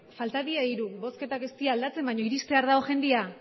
falta dira hiru bozketak ez dira aldatzen baina iristear dago jendea